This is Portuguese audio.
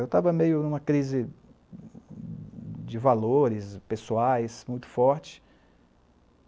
Eu estava meio numa crise de valores pessoais muito forte.